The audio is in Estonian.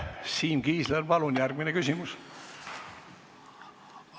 Siim Kiisler, palun järgmine küsimus!